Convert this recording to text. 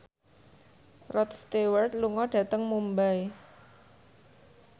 Rod Stewart lunga dhateng Mumbai